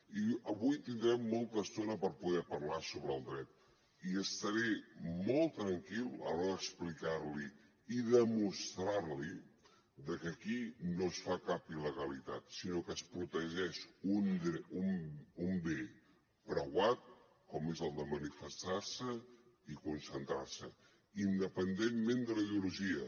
i avui tindrem molta estona per poder parlar sobre el dret i estaré molt tranquil a l’hora d’explicar li i demostrar li que aquí no es fa cap il·legalitat sinó que es protegeix un bé preuat com és el de manifestar se i concentrar se independentment de la ideologia